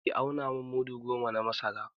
Ki auna min mudu goma na masara!